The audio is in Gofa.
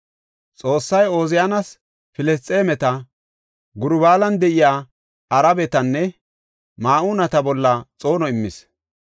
Xoossay Ooziyaanas Filisxeemeta, Gurbaalan de7iya Arabetanne Ma7uuneta bolla xoono immis.